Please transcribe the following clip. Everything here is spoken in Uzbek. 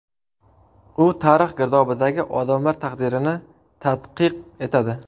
U tarix girdobidagi odamlar taqdirini tadqiq etadi.